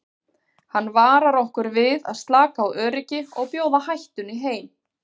Hann varar okkur við að slaka á öryggi og bjóða hættunni heim.